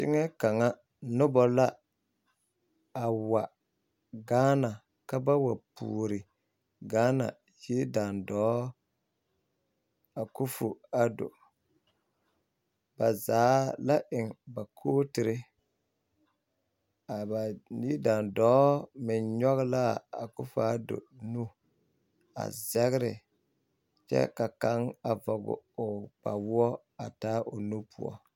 Teŋɛŋ ka noba la a wa Gaana ka ba wa puori Gaana yidaandɔɔ Akofo Addo ba zaa la eŋ ba kootiri a ba yidaandɔɔ meŋ nyɔge la a Akofo Addo nu a zɛgre kyɛ ka kaŋ vɔge o kpawoɔ a taa o nu poɔ.